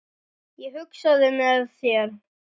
Ég hugsaði með mér